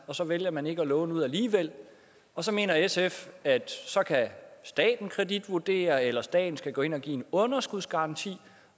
og så vælger man ikke at låne ud alligevel og så mener sf at så kan staten kreditvurdere eller staten skal gå ind og give en underskudsgaranti